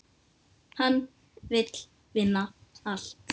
Hann vill vinna allt.